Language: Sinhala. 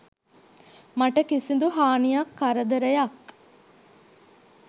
මට කිසිදු හානියක් කරදරයක්